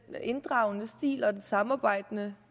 inddragende stil og det samarbejde